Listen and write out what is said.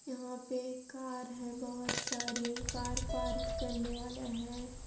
यहाँ पे कार है बहोत सारी कार पार्क वाला है।